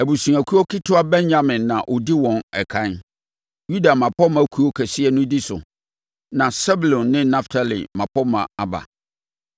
Abusuakuo ketewa Benyamin na ɔdi wɔn ɛkan, Yuda mmapɔmma kuo kɛseɛ no di so, na Sebulon ne Naftali mmapɔmma aba.